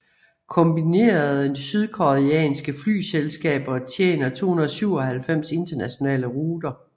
Kombinerede sydkoreanske flyselskaber tjener 297 internationale ruter